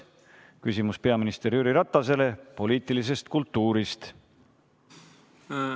Küsimus on peaminister Jüri Ratasele poliitilise kultuuri kohta.